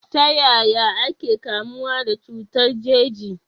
Ta yaya ake kamuwa da cutar jeji?